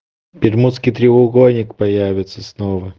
бермудский треугольник появится снова